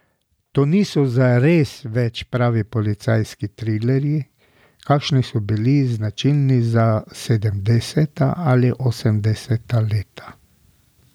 To niso zares več pravi policijski trilerji, kakršni so bili značilni za sedemdeseta ali osemdeseta leta.